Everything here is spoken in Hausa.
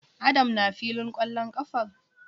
Adam na filin kwallon kafar?